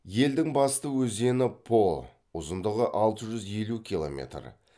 елдің басты өзені по ұзындығы алты жүз елу километр